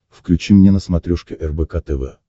включи мне на смотрешке рбк тв